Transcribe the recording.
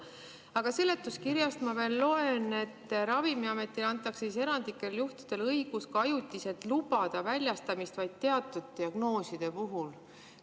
Aga seletuskirjast ma loen, et Ravimiametile antakse erandlikel juhtudel õigus ajutiselt lubada teatud ravimite väljastamist vaid teatud diagnooside puhul.